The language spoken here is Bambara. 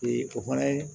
o fana ye